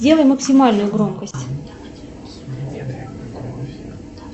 сделай максимальную громкость